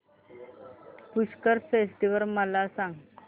Pushkar festival मला सांग